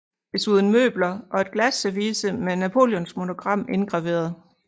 Desuden møbler og et glasservice med Napoleons monogram indgraveret